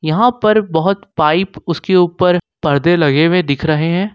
यहां पर बहुत पाइप उसके ऊपर पर्दे लगे हुए दिख रहे हैं।